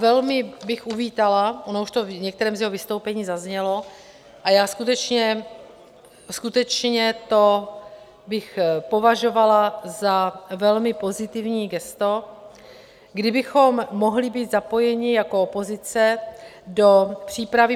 Velmi bych uvítala, ono už to v některém z jeho vystoupení zaznělo, a já skutečně to bych považovala za velmi pozitivní gesto, kdybychom mohli být zapojeni jako opozice do přípravy.